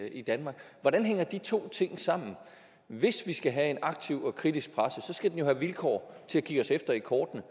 i danmark hvordan hænger de to ting sammen hvis vi skal have en aktiv og kritisk presse skal den jo have vilkår til at kigge os efter i kortene